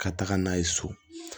Ka taga n'a ye so